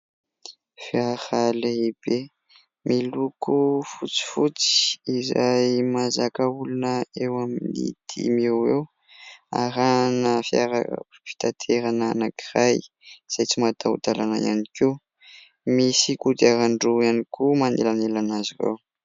Fiara lehibe miloko fotsifotsy izay mazaka olona eo amin'ny dimy eo eo, arahana fiara fitanterana anankiray izay tsy mataho-dalàna ihany koa. Misy kodiaran-droa ihany koa manelanelana azy ireo.